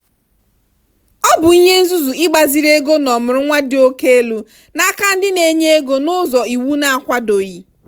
ọ bụ ihe nzuzu ịgbaziri ego n'ọmụrụnwa dị oke elu n'aka ndị na-enye ego n'ụzọ iwu na-akwadoghị.